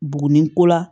Buguni ko la